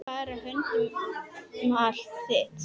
Fara höndum um allt þitt.